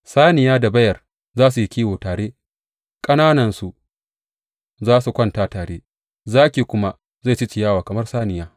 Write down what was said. Saniya da beyar za su yi kiwo tare, ƙananansu za su kwanta tare, zaki kuma zai ci ciyawa kamar saniya.